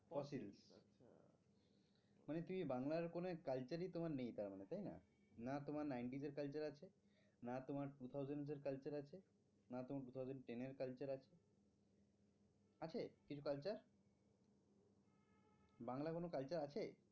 culture আছে আছে কিছু culture বাংলা কোনো culture আছে?